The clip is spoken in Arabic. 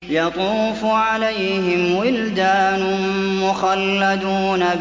يَطُوفُ عَلَيْهِمْ وِلْدَانٌ مُّخَلَّدُونَ